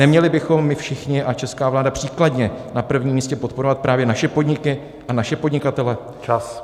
Neměli bychom my všichni a česká vláda příkladně na prvním místě podporovat právě naše podniky a naše podnikatele?